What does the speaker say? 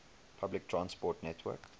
public transport network